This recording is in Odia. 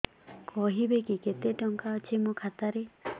କହିବେକି କେତେ ଟଙ୍କା ଅଛି ମୋ ଖାତା ରେ